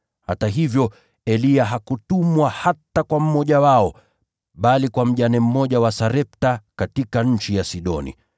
Hata hivyo Eliya hakutumwa hata kwa mmoja wao, bali kwa mjane mmoja wa Sarepta katika nchi ya Sidoni.